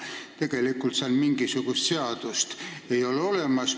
Tegelikult ei ole seal mingisugust sellist seadust olemas.